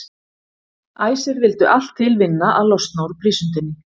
Æsir vildu allt til vinna að losna úr prísundinni.